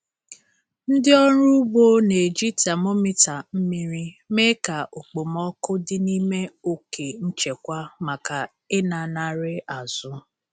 Ndị ọrụ ugbo na-eji temometa mmiri mee ka okpomọkụ dị n'ime oke nchekwa maka ịlanarị azụ.